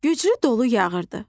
Güclü dolu yağırdı.